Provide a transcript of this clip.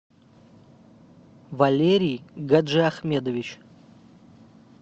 валерий гаджиахмедович